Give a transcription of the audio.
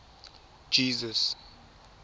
jesus